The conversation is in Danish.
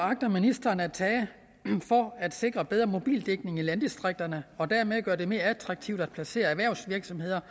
agter ministeren at tage for at sikre bedre mobildækning i landdistrikterne og dermed gøre det mere attraktivt at placere erhvervsvirksomheder